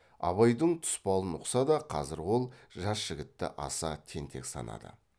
абайдың тұспалын ұқса да қазір ол жас жігітті аса тентек санады